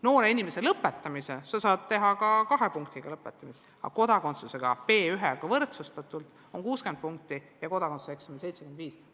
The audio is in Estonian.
Noorel inimesel on lõpetada võimalik ka kahe punktiga, aga kodakondsuse saamiseks on B1-taseme keeleeksamiga võrdsustatult miinimumnõue 60 punkti ja kodakondsuseksamil 75 punkti.